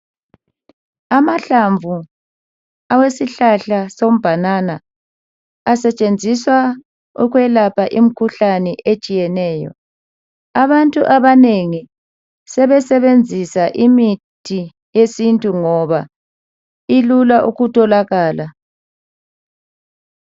Amahlanvu awesihlahla sombanana asentshenziswa ukwelapha imikhuhlane etshiyeneyo abantu abanengi sebesebenzisa imithi yesintu ngoba ilula ukutholakala